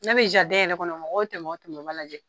N'a be yɛrɛ kɔnɔ mɔgɔw tɛmɛ o tɛmɛ u b'a lajɛ.